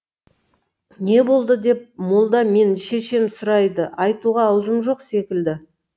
не болды деп молда мен шешем сұрайды айтуға аузым жоқ секілді